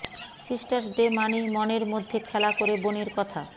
sisters day মানেই মনের মধ্যএ খেলা করে বোনের কথা